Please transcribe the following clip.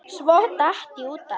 Svo datt ég út af.